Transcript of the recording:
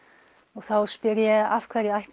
og þá spyr ég af hverju ætti